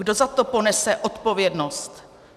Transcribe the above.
Kdo za to ponese odpovědnost?